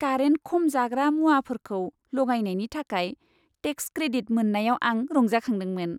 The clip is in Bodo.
कारेन्ट खम जाग्रा मुवाफोरखौ लगायनायनि थाखाय टेक्स क्रेडिट मोन्नायाव आं रंजाखांदोंमोन।